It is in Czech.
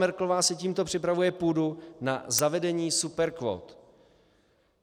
Merkelová si tímto připravuje půdu na zavedení superkvót.